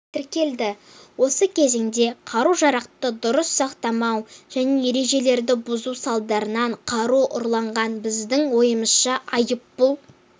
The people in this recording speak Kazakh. тіркелді осы кезеңде қару-жарақты дұрыс сақтамау және ережелерді бұзу салдарынан қару ұрланған біздің ойымызша айыппұл